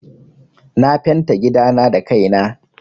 Na fenta gidana da kai na.